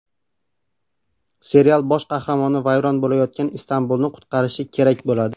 Serial bosh qahramoni vayron bo‘layotgan Istanbulni qutqarishi kerak bo‘ladi.